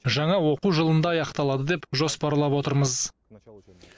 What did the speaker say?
жаңа оқу жылында аяқталады деп жоспарлап отырмыз